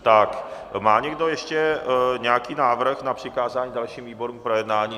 Má někdo ještě nějaký návrh na přikázání dalším výborům k projednání?